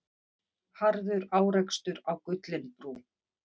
Harður árekstur á Gullinbrú